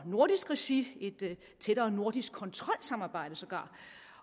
nordisk regi et tættere nordisk kontrolsamarbejde sågar